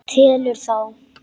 Telur þá.